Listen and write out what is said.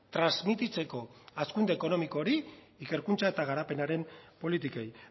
transmititzeko hazkunde ekonomiko hori ikerkuntza eta garapenaren politikei